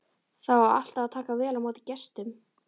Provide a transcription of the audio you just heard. Það á alltaf að taka vel á móti gestum.